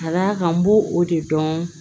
Ka d'a kan n b'o o de dɔn